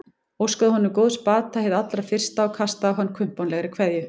Óskaði honum góðs bata hið allra fyrsta og kastaði á hann kumpánlegri kveðju.